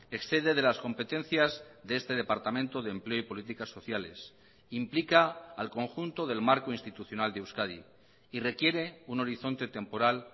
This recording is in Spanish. excede de las competencias de este departamento de empleo y políticas sociales implica al conjunto del marco institucional de euskadi y requiere un horizonte temporal